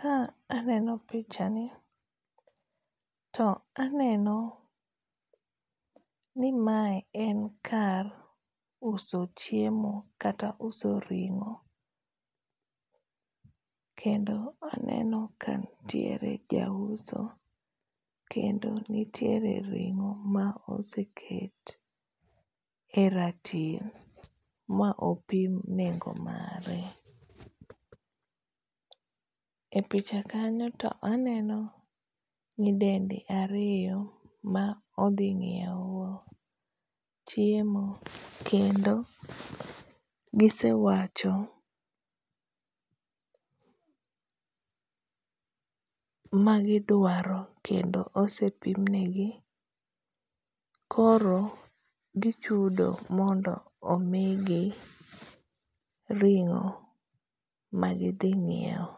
Ka aneno pichani, to aneno ni mae en kar uso chiemo kata uso ringó. Kendo aneno ka nitiere ja uso, kendo nitiere ringó ma iseket e ratil ma opim nengo mare. E picha kanyo to aneno nyidendi ariyo ma odhi nyiewo chiemo kendo gisewacho magidwaro kendo osepimnegi koro gichudo mondo omigi ringó ma gidhi nyiewo.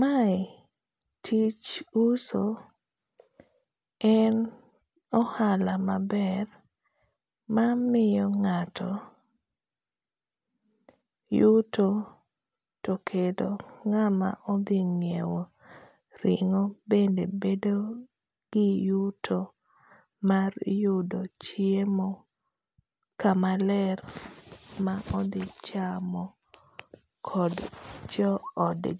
Mae tich uso, en ohala maber mamiyo ngáto yuto, to kendo ngáma odhi nyiewo ringo bende bedo gi yuto mar yudo chiemo kama ler ma odhi chamo kod joodgi.